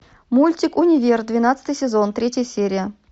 мультик универ двенадцатый сезон третья серия